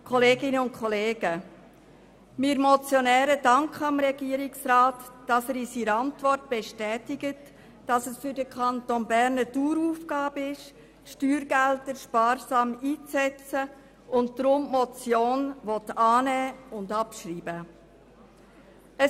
Wir Motionäre danken dem Regierungsrat, dass er in seiner Antwort bestätigt, dass es für den Kanton Bern eine Daueraufgabe ist, die Steuergelder sparsam einzusetzen und er die Motion deshalb annehmen und abschreiben will.